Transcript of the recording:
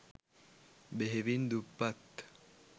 බෙහෙවින් දුප්පත්